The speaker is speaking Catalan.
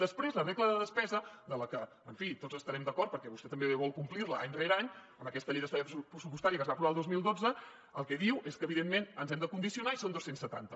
després la regla de despesa amb la que en fi tots estarem d’acord perquè vostè també vol complir la any rere any amb aquesta llei d’estabilitat pressupostària que es va aprovar el dos mil dotze el que diu és que evidentment ens hem de condicionar i són dos cents i setanta